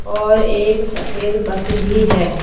और एक सफेद बस भी है।